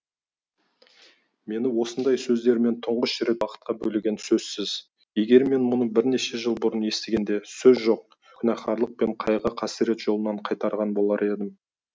мені осындай сөздермен түңғыш рет бақытқа бөлегені сөзсіз егер мен мұны бірнеше жыл бұрын естігенде сөз жоқ күнәһарлық пен қайғы қасірет жолынан қайтарған болар едім